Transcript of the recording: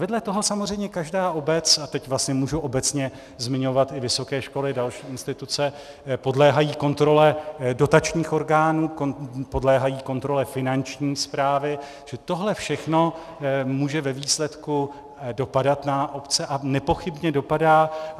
Vedle toho samozřejmě každá obec, a teď vlastně můžu obecně zmiňovat i vysoké školy, další instituce, podléhají kontrole dotačních orgánů, podléhají kontrole Finanční správy, že tohle všechno může ve výsledku dopadat na obce, a nepochybně dopadá.